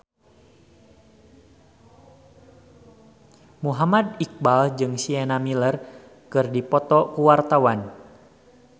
Muhammad Iqbal jeung Sienna Miller keur dipoto ku wartawan